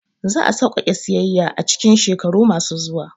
Za a sauƙaƙe siyayya a cikin shekaru masu zuwa